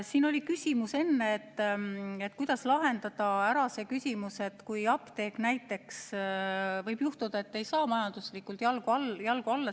Siin oli enne küsimus, kuidas lahendada ära see, et mis juhtub, kui apteek ei saa näiteks majanduslikult jalgu alla.